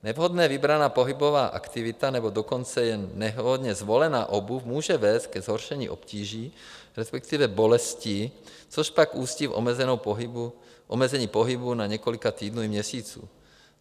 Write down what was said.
Nevhodně vybraná pohybová aktivita, nebo dokonce jen nevhodně zvolená obuv může vést ke zhoršení obtíží, respektive bolestí, což pak ústí v omezení pohybu na několik týdnů i měsíců.